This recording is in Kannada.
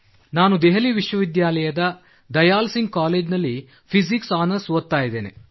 ನಾನು ದೆಹಲಿ ವಿಶ್ವವಿದ್ಯಾಲಯದ ದಯಾಲ್ ಸಿಂಗ್ ಕಾಲೇಜಿನಲ್ಲಿ ಫಿಸಿಕ್ಸ್ ಆನರ್ಸ್ ಓದುತ್ತಿದ್ದೇನೆ